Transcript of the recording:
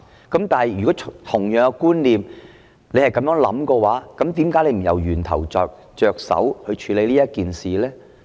但是，如果局長是有同樣觀念的話，為何不從源頭着手來處理這件事呢？